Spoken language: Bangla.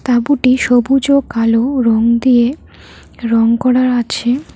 তাঁবুটি সবুজ ও কালো রং দিয়ে রং করা আছে।